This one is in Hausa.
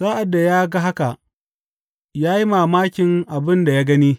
Sa’ad da ya ga haka, ya yi mamakin abin da ya gani.